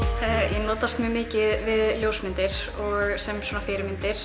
ég notast mjög mikið við ljósmyndir sem svona fyrirmyndir